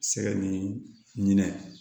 Sɛgɛ ni ɲinɛ